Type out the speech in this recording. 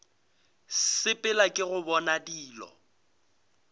sepela ke go bona dilo